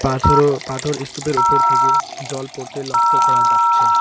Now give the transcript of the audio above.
পাথর ও পাথর ইস্তুপের ওপর থেকে জল পড়তে লক্ষ করা যাচ্ছে।